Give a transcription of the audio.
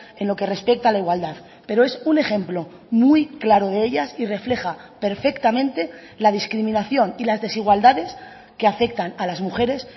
en lo que respecta a la igualdad pero es un ejemplo muy claro de ellas y refleja perfectamente la discriminación y las desigualdades que afectan a las mujeres